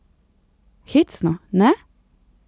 Hecno, ne?